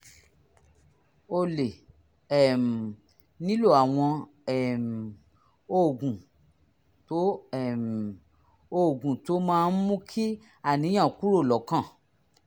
o lè um nílò àwọn um oògùn tó um oògùn tó máa ń mú kí àníyàn kúrò lọ́kàn